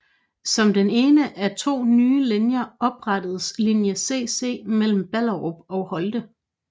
Som den ene af to nye linjer oprettedes linje Cc mellem Ballerup og Holte